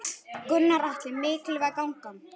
Gunnar Atli: Mikilvæg gangan?